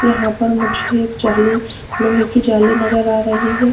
यहां पर मुझे एक जाली लोहे की जाली नजर आ रही है।